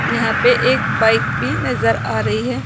यहां पे एक बाइक भी नजर आ रही है।